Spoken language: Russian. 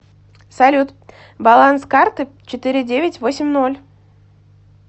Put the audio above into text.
салют баланс карты четыре девять восемь ноль